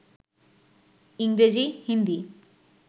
ইংরেজি, হিন্দি